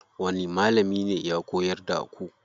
Wani malami ne ya koyar da ku?